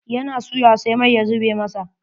Ya na suya sai mai ya zuɓe masa.